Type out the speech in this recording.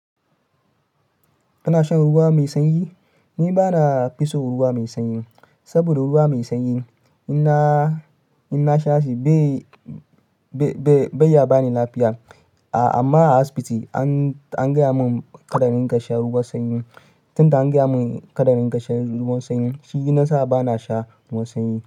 Kana shan ruwa mai sanyi? Ni ba na fi son ruwa mai sanyi, saboda ruwa mai sanyi in na, in na sha shi bai, bai, bai ya ba ni lafiya. A amma a asibiti an, an gaya mun kadarin ka sha ruwan sanyi. Tunda an gaya mun kadarin ka sha ruwan sanyi shi ya sa ba na sha ruwan sanyi.